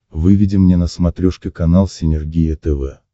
выведи мне на смотрешке канал синергия тв